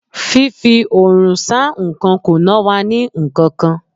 Fífi Òòrùn sá nkan kò ná wa ní nkankan.